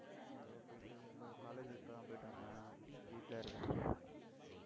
ஏதோ போயிட்டிருக்கு college இப்பதான் போயிட்டு வந்தேன், வீட்டுல இருக்கேன்